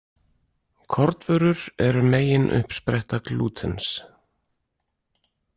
Kornvörur eru megin uppspretta glútens.